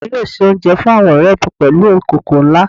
Ìya mi yóò se oúnjẹ fún àwọn ọ̀rẹ̀ mi pèlú ìkòkò nlá